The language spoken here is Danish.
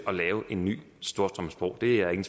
at lave en ny storstrømsbro det er jeg